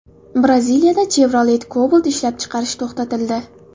Braziliyada Chevrolet Cobalt ishlab chiqarish to‘xtatildi.